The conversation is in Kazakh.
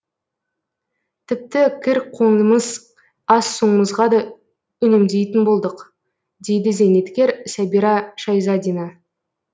тіпті кір қоңымыз ас суымызға да үнемдейтін болдық дейді зейнеткер сәбира шайзадина